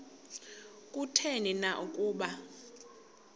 kutheni na ukuba